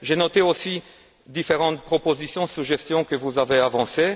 J'ai noté aussi différentes propositions et suggestions que vous avez avancées.